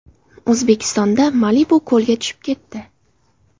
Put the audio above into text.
O‘zbekistonda Malibu ko‘lga tushib ketdi .